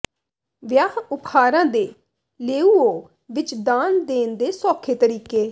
ਵਿਆਹ ਉਪਹਾਰਾਂ ਦੇ ਲੇਊਓ ਵਿਚ ਦਾਨ ਦੇਣ ਦੇ ਸੌਖੇ ਤਰੀਕੇ